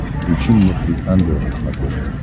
включи мне три ангела на смотрешке